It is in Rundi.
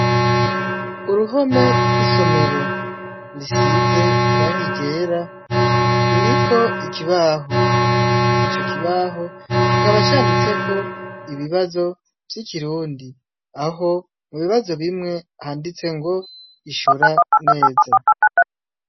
Uruhome rw'isomero risize irangi ryera ririko ikibaho ico kibaho kikaba canditseko ibibazo vy'ikirundi aho ibibazo bimwe handitse ngo ishura neza.